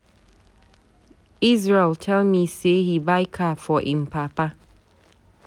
Israel tell me say he buy car for im papa.